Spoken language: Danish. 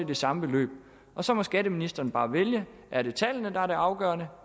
det samme beløb og så må skatteministeren bare vælge er det tallene der er det afgørende